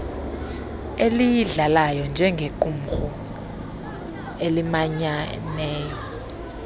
eyidlalayo njengequmrhu elimanyayo